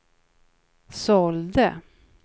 sålde